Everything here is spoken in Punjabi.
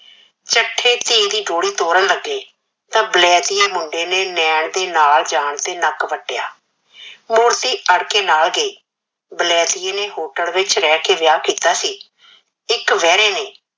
ਚੱਠੇ ਧੀ ਦੀ ਡੋਲੀ ਤੋੜਨ ਲੱਗੇ ਤਾਂ ਬਲੈਤੀਏ ਮੁੰਡੇ ਨੇ ਨੈਣ ਦੇ ਨਾਲ ਜਾਣ ਤੇ ਨੱਕ ਵੱਟਿਆ। ਮੂਰਤੀ ਅੜ ਕੇ ਨਾਲ ਗਈ। ਬਲੈਤੀਏ ਨੇ hotel ਵਿਚ ਰਹਿ ਕੇ ਵਿਆਹ ਕੀਤਾ ਸੀ। ਇਕ ਬਹਿਰੇ ਨੇ